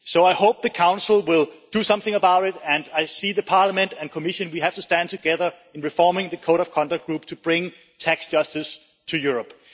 So I hope the Council will do something about it, and I see the Parliament and Commission, we have to stand together in reforming the code of conduct group to bring tax justice to Europe.